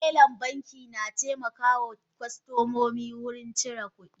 Telan banki na taimakawa kostomomi wurin cire kudi.